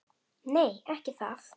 Nei, ekki það!